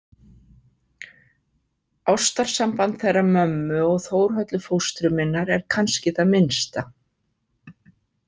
Ástarsamband þeirra mömmu og Þórhöllu fóstru minnar er kannski það minnsta